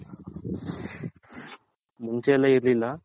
ಮುಂಚೆ ಎಲ್ಲಾ ಇರ್ಲಿಲ್ಲ